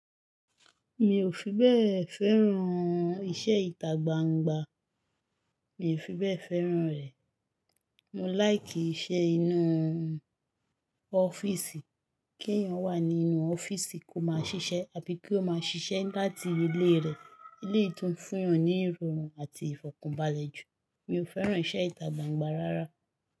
Mi ò fi bẹ́ẹ̀ fẹ́ràn iṣẹ́ ìtagbangba, mi ò fi bẹ́ẹ̀ fẹ́ràn rẹ̀. Mo láìkì iṣẹ́ inú ọ́fíìsì, kí èèyàn wà nínú ọ́fíìsì kó máa ṣiṣẹ́ àbí kí ó máa ṣiṣẹ́ láti ilé rẹ̀. Eleyii tún fún yàn ní irọrùn àti ìfọ̀kànbalẹ̀ jù. Mi ò fẹ́ràn iṣẹ́ ìtagbangba rárá.